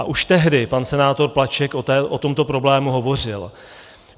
A už tehdy pan senátor Plaček o tomto problému hovořil.